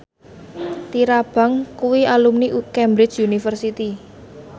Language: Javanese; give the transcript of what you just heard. Tyra Banks kuwi alumni Cambridge University